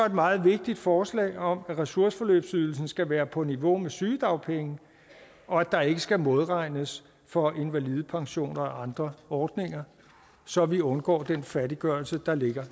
et meget vigtigt forslag om at ressourceforløbsydelsen skal være på niveau med sygedagpenge og at der ikke skal modregnes for invalidepension og andre ordninger så vi undgår den fattiggørelse der ligger